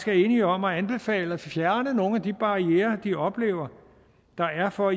er enige om at anbefale at fjerne nogle af de barrierer de oplever der er for at